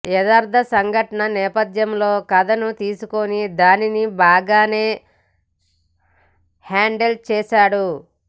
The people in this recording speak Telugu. యదార్థ సంఘటన నేపధ్యంలో కథను తీసుకుని దానిని బాగానే హ్యాండిల్ చేశాడు